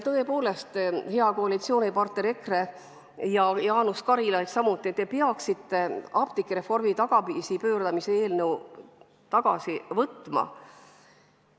Tõepoolest, hea koalitsioonipartner EKRE ja samuti Jaanus Karilaid, te peaksite apteegireformi tagasipööramise eelnõu tagasi võtma.